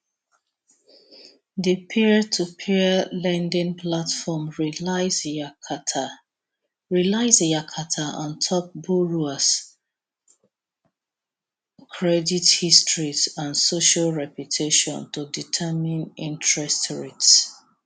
di peertopeer lending platform relies yakata relies yakata on top borrowers credit histories and social reputation to determine interest rates